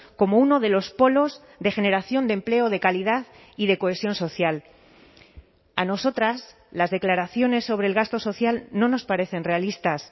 como uno de los polos de generación de empleo de calidad y de cohesión social a nosotras las declaraciones sobre el gasto social no nos parecen realistas